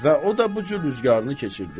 Və o da bu cür güzəranını keçirdir.